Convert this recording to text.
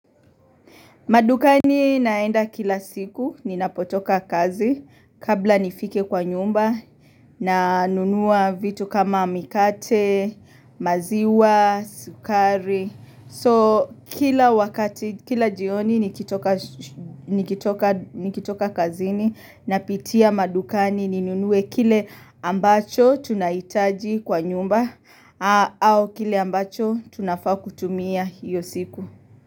Madukani naenda kila siku ni napotoka kazi kabla nifike kwa nyumba na nunua vitu kama mikate, maziwa, sukari. So kila wakati, kila jioni nikitoka shu ni nikitoka kazi ni napitia madukani ni nunue kile ambacho tunaitaji kwa nyumba au kile ambacho tunafaa kutumia hio siku.